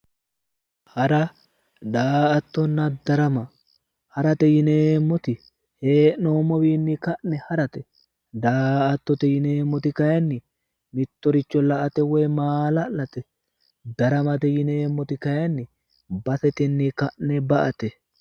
Hara daa"attonna darama, harate yinneemmoti hee'noommowinni ka'ne harate, daa"attote yinneemmoti kayinni mittoricho la"ate woyi maala'late, daramate yinneemmoti kayinni baseteni ka'ne ba"ate.